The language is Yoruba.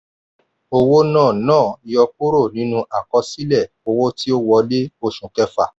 owó náà náà yọkúrò nínú àkọsílẹ̀ owó ti ó wọlé oṣù kẹfà.